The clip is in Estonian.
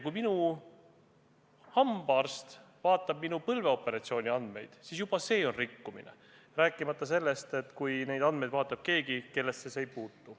Kui minu hambaarst vaatab minu põlveoperatsiooni andmeid, siis juba see on rikkumine, rääkimata sellest, kui neid andmeid vaatab keegi, kellesse need üldse ei puutu.